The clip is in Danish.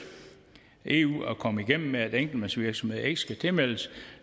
eu at komme igennem med at enkeltmandsvirksomheder ikke skal tilmeldes